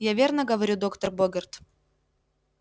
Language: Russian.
я верно говорю доктор богерт